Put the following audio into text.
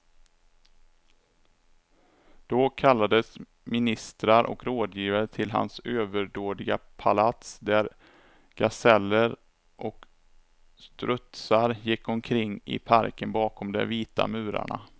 Då kallades ministrar och rådgivare till hans överdådiga palats, där gaseller och strutsar gick omkring i parken bakom de vita murarna.